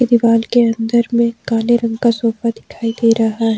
दीवाल के अंदर में काले रंग का सोफा दिखाई दे रहा है।